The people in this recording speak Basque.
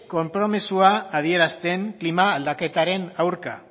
konpromezua adierazten klima aldaketaren aurka